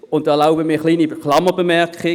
Hier erlaube ich mir eine Klammerbemerkung: